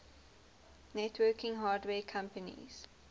networking hardware companies